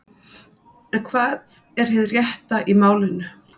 En hvað er hið rétta í málinu?